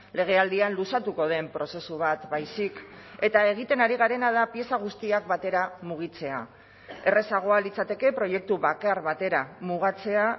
legealdian luzatuko den prozesu bat baizik eta egiten ari garena da pieza guztiak batera mugitzea errazagoa litzateke proiektu bakar batera mugatzea